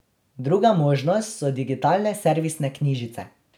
Druga možnost so digitalne servisne knjižice.